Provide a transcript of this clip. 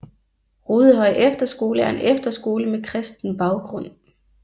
Rudehøj Efterskole er en efterskole med kristen baggrund